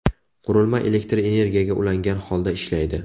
Qurilma elektr energiyaga ulangan holda ishlaydi.